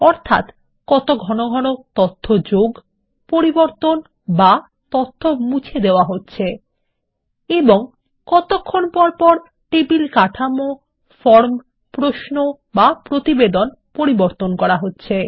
অর্থাত কত ঘন ঘন তথ্য যোগ পরিবর্তন বা তথ্য মুছে দেওয়া হচ্ছে এবং কতক্ষণ পরপর টেবিল কাঠামো ফর্ম প্রশ্ন বা প্রতিবেদন পরিবর্তন করা হচ্ছে